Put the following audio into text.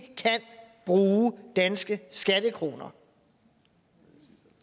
bruge danske skattekroner